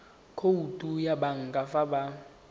khoutu ya banka fa ba